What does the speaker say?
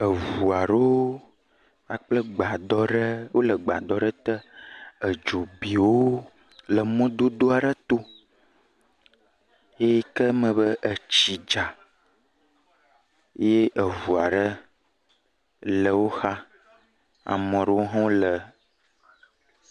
Eŋu aɖewo kpakple gbadɔ ɖe, wole gbadɔ ɖe te, edzo bi wo ɖe mɔdodo ɖe to, eyike me be etsi dza ye eŋu aɖe le wo xa, ame ɖewo hã le…